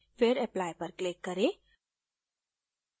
फिर apply पर click करें